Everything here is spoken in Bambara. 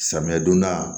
Samiya donda